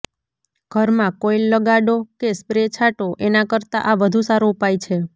ઘરમાં કોઇલ લગાડો કે સ્પ્રે છાંટો એના કરતાં આ વધુ સારો ઉપાય છે